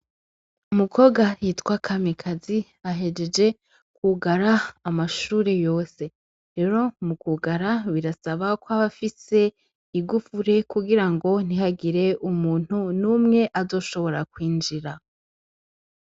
Umukobwa yitwa Kamikazi ,ahejeje ,kwugara amashure yose. Rero mukwugara ,birasaba kw'aba afise igufuri kugirango ntihagire umuntu n'umwe azoshobora kwinjira.